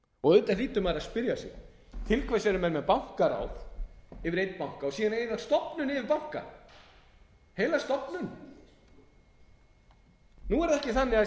hlýtur maður að spyrja sig til hvers eru menn með bankaráð yfir einum banka og síðan heila stofnun yfir banka heila stofnun nú er það ekki þannig að það